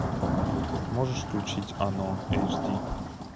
можешь включить оно эйч ди